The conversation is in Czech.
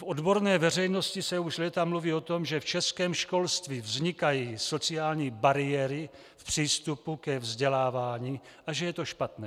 V odborné veřejnosti se už léta mluví o tom, že v českém školství vznikají sociální bariéry v přístupu ke vzdělávání a že je to špatné.